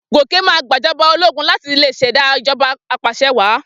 Gòkè máa gbàjọba ológun láti lè ṣẹ̀dá ìjọba apàṣẹwàá.